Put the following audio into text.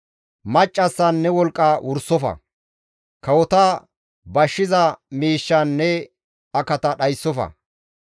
Maccassan ne wolqqa wursofa; kawota bashshiza miishshan ne akata dhayssofa.